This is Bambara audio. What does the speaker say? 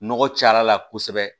Nɔgɔ caya la kosɛbɛ